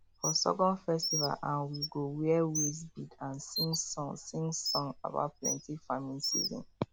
for sorghum festival um we go wear waist bead and sing song sing song about plenty farming season